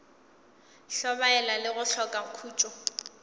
hlobaela le go hloka khutšo